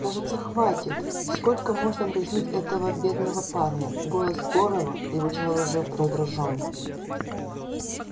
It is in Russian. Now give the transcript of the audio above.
кажется хватит сколько можно дразнить этого бедного парня голос горова звучал уже раздражённо